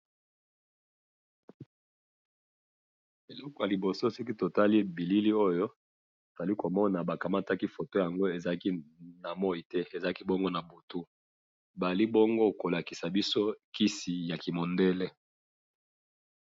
eloko ya liboso soki totali bilili oyo tozali komona bakamataki foto oyo na moyi te bakangaki yango na butu bazali bongo kolakisa biso kisi ya kimundele